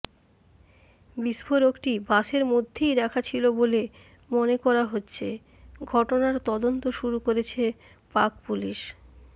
বিস্ফোরকটি বাসের মধ্যেই রাখা ছিল বলে মনে করা হচ্ছে ঘটনার তদন্ত শুরু করেছে পাক পুলিশ